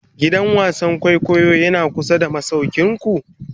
gidan wasan kwaikwayo Yana kusa da masaukinku?